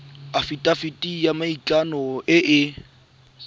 afitafiti ya maikano e e